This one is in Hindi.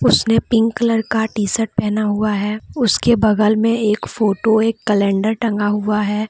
उसने पिंक कलर का टी शर्ट पहना हुआ है उसके बगल में एक फोटो एक कलेंडर टंगा हुआ है।